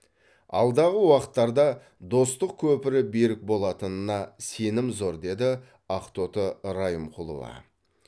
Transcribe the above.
алдағы уақыттарда достық көпірі берік болатынына сенім зор деді ақтоты райымқұлова